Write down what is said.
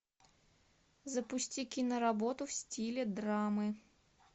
запусти киноработу в стиле драмы